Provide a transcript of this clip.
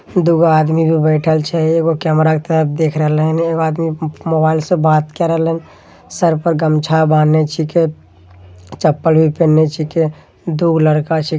दुगो आदमी भी बैठल छे एगो कैमरा के तरफ देख रहले हेने एक आदमी मोबाइल से बात करलन सर पर गमछा बांधे छीके चप्पल भी पहने छीके दुगो लड़का छी --